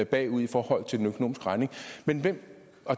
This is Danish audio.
bagud i forhold til den økonomiske regning men hvem